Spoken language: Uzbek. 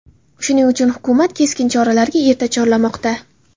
Shuning uchun hukumat keskin choralarga erta chorlamoqda.